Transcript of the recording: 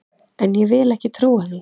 En ég vil ekki trúa því!